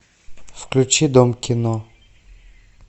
включи дом кино